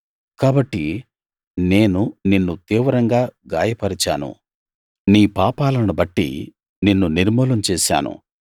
కాబట్టి నేను నిన్ను తీవ్రంగా గాయపరచాను నీ పాపాలను బట్టి నిన్ను నిర్మూలం చేశాను